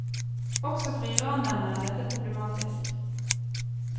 Også for iranerne er dette problematisk.